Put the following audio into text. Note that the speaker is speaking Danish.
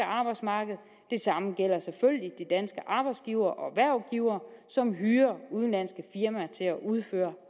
arbejdsmarked og det samme gælder selvfølgelig de danske arbejdsgivere og hvervgivere som hyrer udenlandske firmaer til at udføre